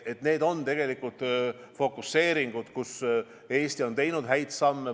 Need on tegelikult fokuseeringud, kus Eesti on teinud häid samme.